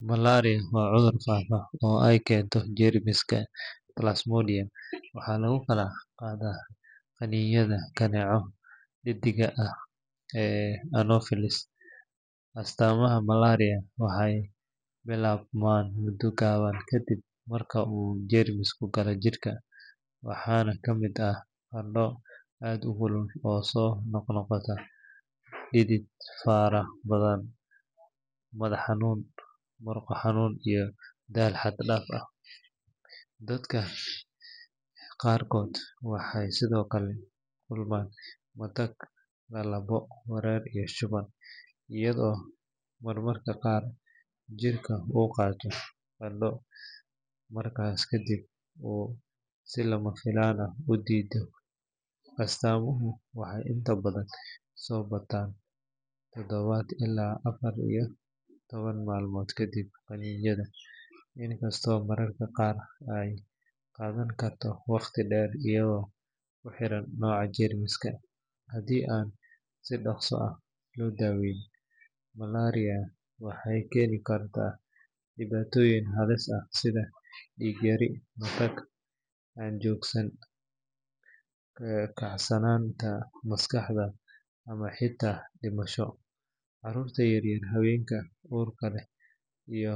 Malaria waa cudur faafa oo ay keento jeermiska plasmodium waxaana lagu kala qaadaa qaniinyada kaneecada dheddigga ah ee anopheles. Astaamaha malaria waxay bilaabmaan muddo gaaban kadib marka uu jeermisku galo jidhka, waxaana ka mid ah qandho aad u kulul oo soo noqnoqota, dhidid fara badan, madax xanuun, murqo xanuun iyo daal xad dhaaf ah. Dadka qaarkood waxay sidoo kale la kulmaan matag, lalabo, wareer iyo shuban, iyadoo mararka qaar jirka uu qabto qandho markaas kadibna uu si lama filaan ah u dhidido. Astaamuhu waxay inta badan soo baxaan toddoba ilaa afar iyo toban maalmood kadib qaniinyada, inkastoo mararka qaar ay qaadan karto waqti dheer iyadoo ku xiran nooca jeermiska. Haddii aan si dhaqso ah loo daaweyn, malaria waxay keeni kartaa dhibaatooyin halis ah sida dhiig yari, matag aan joogsan, kacsanaanta maskaxda, ama xitaa dhimasho. Carruurta yar yar, haweenka uurka leh.